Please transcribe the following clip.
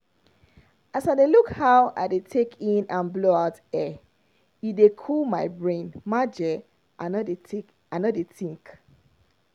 as i dey look how i dey take in and blow out air e dey cool my brain maje i no dey i no dey think.